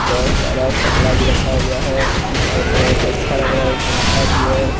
बहोत सारा कपड़ा भी रखा हुआ है और बहोत ही अच्छा लग रहा है एक पंखा भी है।